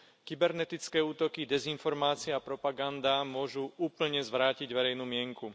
kybernetické útoky, dezinformácie a propaganda môžu úplne zvrátiť verejnú mienku.